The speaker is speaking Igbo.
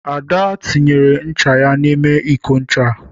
Ada tinyere ncha ya n'ime iko ncha.